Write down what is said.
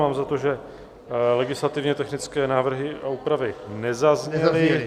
Mám za to, že legislativně technické návrhy a úpravy nezazněly.